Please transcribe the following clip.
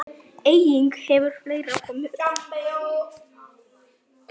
Einnig hefur fleira komið upp.